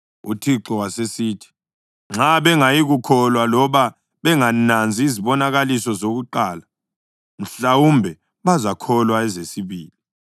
UThixo wasesithi, “Nxa bengayikukholwa loba bengananzi izibonakaliso zokuqala, mhlawumbe bazakholwa ezesibili.